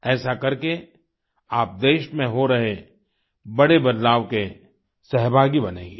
ऐसा करके आप देश में हो रहे बड़े बदलाव के सहभागी बनेंगे